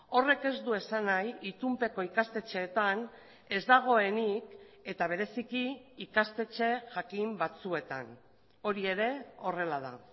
horrek ez du esan nahi itunpeko ikastetxeetan ez dagoenik eta bereziki ikastetxe jakin batzuetan hori ere horrela da